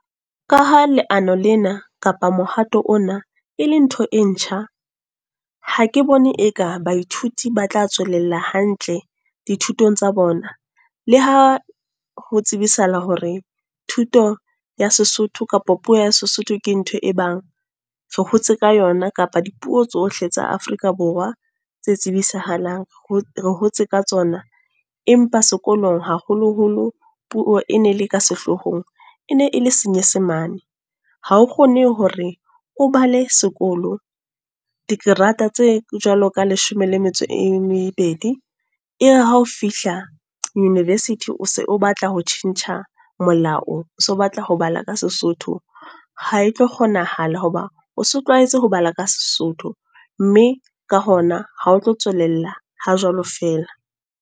Ka ha leano lena, kapa mohato ona, e le ntho e ntjha. Ha ke bone e ka baithuti ba tla tswelella hantle, dithutong tsa bona. Le ha ho tsebisahala hore thuto ya Sesotho kapa puo ya Sesotho ke ntho e bang, re hotse ka yona. Kapa dipuo tsohle tsa Afrika Borwa tse tsibisahalang, re hotse ka tsona. Empa sekolong haholoholo puo e ne le ka sehloohong e ne e le Senyesemane. Ha o kgone hore o bale sekolo dikerata tse jwalo ka leshome le metso e mebedi. Ebe ha o fihla University o batla ho tjhentjha molao, o so batla ho bala ka Sesotho. Ha e tlo kgonahala hoba o se o tlwaetse ho bala ka Sesotho. Mme ka hona ha o tlo tswalella ha jwalo fela.